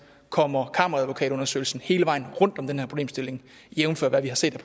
kommer kammeradvokatundersøgelsen hele vejen rundt om den her problemstilling jævnfør hvad vi har set